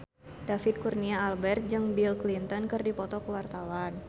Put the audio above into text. David Kurnia Albert jeung Bill Clinton keur dipoto ku wartawan